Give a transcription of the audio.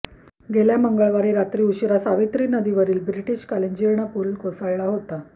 गेल्या मंगळवारी रात्री उशिरा सावित्री नदीवरील ब्रिटिशकालीन जीर्ण पूल कोसळला होता